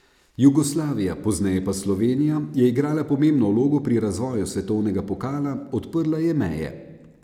Jugoslavija, pozneje pa Slovenija, je igrala pomembno vlogo pri razvoju svetovnega pokala, odprla je meje.